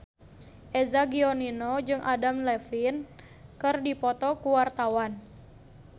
Eza Gionino jeung Adam Levine keur dipoto ku wartawan